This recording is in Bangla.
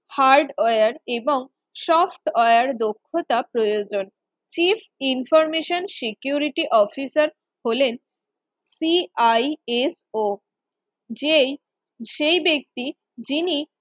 hardware এবং software দক্ষতা প্রয়োজন Chief Information Security Officer হলেন CISO যেই সেই ব্যক্তি যিনি